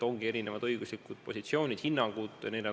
Ongi erinevad õiguslikud positsioonid, hinnangud.